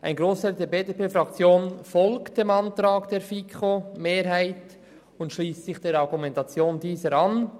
Ein Grossteil der BDP-Fraktion folgt dem Antrag der FiKo-Mehrheit und schliesst sich der Argumentation derselben an.